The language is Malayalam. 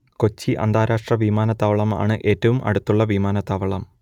കൊച്ചി അന്താരാഷ്ട്ര വിമാനത്താവളം ആണ് ഏറ്റവും അടുത്തുള്ള വിമാനത്താവളം